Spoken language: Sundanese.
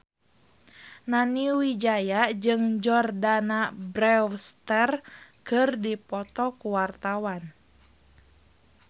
Nani Wijaya jeung Jordana Brewster keur dipoto ku wartawan